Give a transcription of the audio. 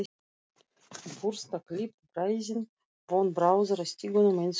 Burstaklippt bræðin von bráðar í stiganum eins og